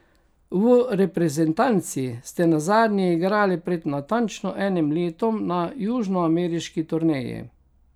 V reprezentanci ste nazadnje igrali pred natančno enim letom na južnoameriški turneji.